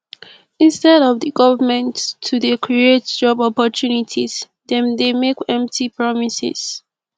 instead of the government to dey create job opportunities dem dey make empty promises